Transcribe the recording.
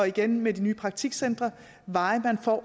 igen med de nye praktikcentre